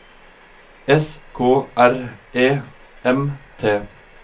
S K R E M T